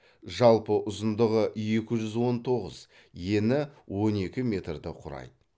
жалпы ұзындығы екі жүз он тоғыз ені он екі метрді құрайды